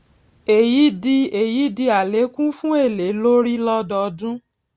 èyí di èyí di àlékún fún èlé lórí lódọọdún